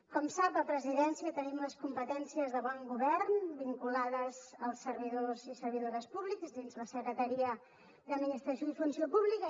com sap a presidència tenim les competències de bon govern vinculades als servidors i servidores públics dins la secretaria d’administració i funció pública